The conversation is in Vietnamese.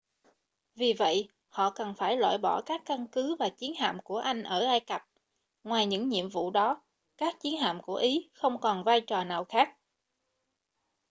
vì vậy họ cần phải loại bỏ các căn cứ và chiến hạm của anh ở ai cập ngoài những nhiệm vụ đó các chiến hạm của ý không còn vai trò nào khác